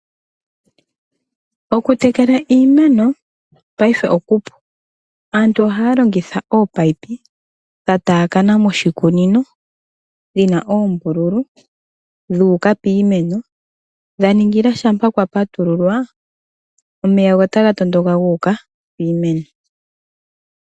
Okutekela iimeno paife okupu. Aantu ohaya longitha ominino dha taakana moshikunino, dhi na oombululu, dhu uka piimeno dha ningila shampa kwa patululwa go omeya otaga tondoka ga uka piimeno.